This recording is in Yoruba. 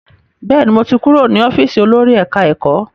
Bẹ́ẹ̀ni, mo ti kúrò ní ọ́fíìsì olórí ẹ̀ká-ẹ̀kọ́